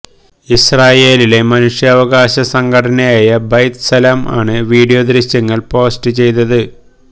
ഇസ്രായേലിലെ മനുഷ്യാവകാശ സംഘടനയായ ബൈത്ത് സലം ആണ് വിഡിയോ ദൃശ്യങ്ങള് പോസ്റ്റ് ചെയ്തത്